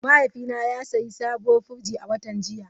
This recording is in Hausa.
Mahaifina ya sayi sabuwar firji a watan jiya.